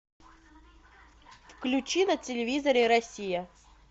включи на телевизоре россия